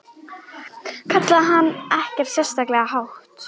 kallaði hann en ekkert sérlega hátt.